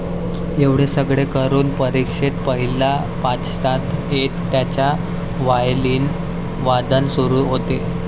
एवढे सगळे करून परीक्षेत पहिल्या पाचात येत त्यांचा वायलीन वादन सुरू होते